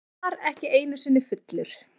Hann var ekki einusinni fullur.